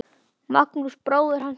Magnús bróðir hans kenndi smíðar.